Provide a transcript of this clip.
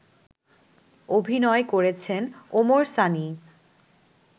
অভিনয় করেছেন ওমর সানি